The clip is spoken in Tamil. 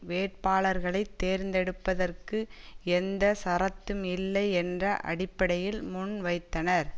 வேட்பாளர்களைத் தேர்ந்தெடுப்பதற்கு எந்த சரத்தும் இல்லை என்ற அடிப்படையில் முன் வைத்தனர்